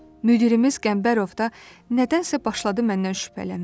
Müdirimiz Qəmbərov da nədənsə başladı məndən şübhələnməyə.